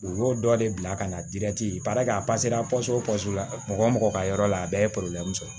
U y'o dɔ de bila ka na a la mɔgɔ o mɔgɔ ka yɔrɔ la a bɛɛ ye sɔrɔ